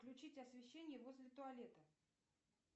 включить освещение возле туалета